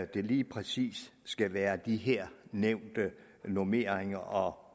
det lige præcis skal være de her nævnte normeringer og